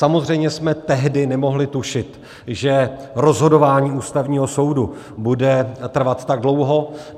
Samozřejmě jsme tehdy nemohli tušit, že rozhodování Ústavního soudu bude trvat tak dlouho.